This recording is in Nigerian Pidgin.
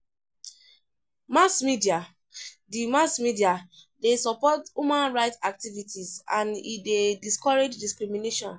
Mass media de Mass media de support human right activities and e de discourage discrimination